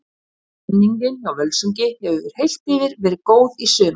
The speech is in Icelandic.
Stemmningin hjá Völsungi hefur heilt yfir verið góð í sumar.